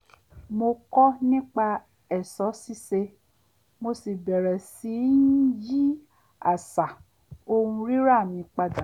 mo kọ́ nipa è̩s̩ó̩ sís̩e mo sì bẹ̀rẹ̀ sí í yí às̩à ohun rírà mi padà